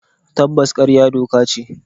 Taboos karya doka ce.